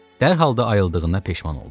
Dərhal da ayıldığına peşman oldu.